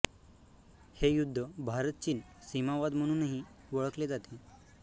हे युद्ध भारत चीन सीमावाद म्हणूनही ओळखले जाते